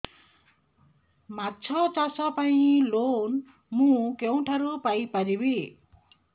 ମାଛ ଚାଷ ପାଇଁ ଲୋନ୍ ମୁଁ କେଉଁଠାରୁ ପାଇପାରିବି